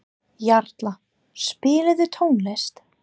Jarla, spilaðu tónlist.